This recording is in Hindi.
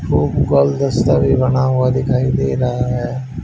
वो गुगलदस्ता भी बना हुआ दिखाई दे रहा है।